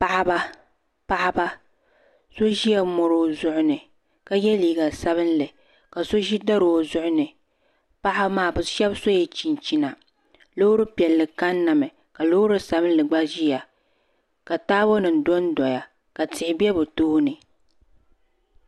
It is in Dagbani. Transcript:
Paɣiba paɣiba so zila mɔri o zuɣu ni ka yɛ liiga sabinli ka so zi dari o zuɣu ni paɣiba maa bi shɛba sola chinchina loori piɛlli kanna mi ka loori sabinli gba ziya ka taabo nim donndoya ka tihi bɛ bi tooni